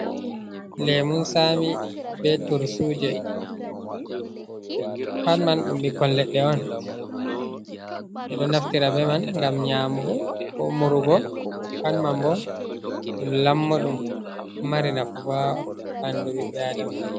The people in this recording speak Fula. Lemun sami be turtuje, pat man ɗum bikkon ledɗe on, ɓe ɗo naftira be man gam nyamugo, ko murugo pat man bo ɗum lammoɗum ɗo mari nafu bo ha bandu ɓiɓɓe a'dama en.